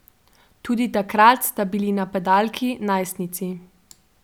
Tudi takrat sta bili napadalki najstnici.